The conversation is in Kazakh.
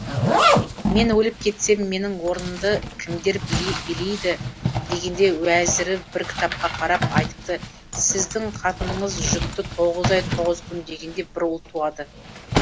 мен өліп кетсем менің орнымды кімдер билейді дегенде уәзірі бір кітапқа карап айтыпты сіздің қатыныңыз жүкті тоғыз ай тоғыз күн дегенде бір ұл туады